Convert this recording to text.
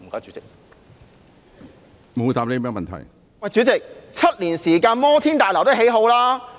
主席 ，7 年時間，摩天大樓也竣工了。